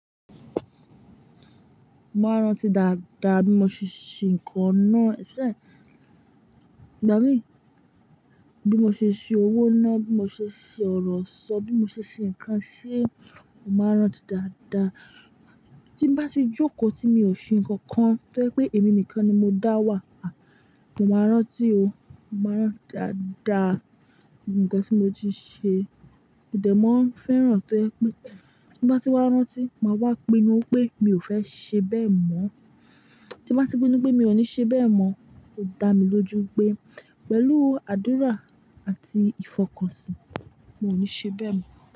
Mo máa ń rántí dáadáa bí mo ṣe ṣe nǹkan náà, ìgbà mi. Bí mo ṣe ṣe owó náà, bí mo ṣe ṣe ọ̀rọ̀ sọ, bí mo ṣe ṣe nǹkan ṣe, mo máa ń rántí dáadáa. Tí n bá ti jókòó tí mi ò ṣe nǹkan kan tó jẹ́ pé èmi nìkan ni mo dá wà, a! Mo máa rántí o, mo máa rántí dáadáa nǹkan tí mo ti ṣe. Ó dẹ̀ mọ́ ń fẹ́ràn tó jẹ pé tí bá ti wá rántí, máa wá pinnu pé mi ò fẹ́ ṣe bẹ́ẹ̀ mọ́. Tí bá ti pinnu pé mi ò ní ṣe bẹ́ẹ̀ mọ́, ó dá mi lójú pé pẹ̀lú àdúrà àti ìfọkànsìn, mi ò ní ṣe bẹ́ẹ̀ mọ́.